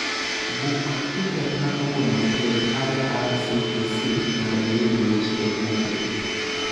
Buk tiket ma kawuono e irctc mondo iyud weche moketi